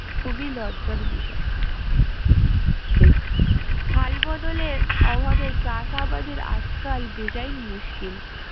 খুবই লজ্জার বিষয় ঠিক হাল বদলের অভাবে চাষ আবাদের আজকাল বেজায় মুশকিল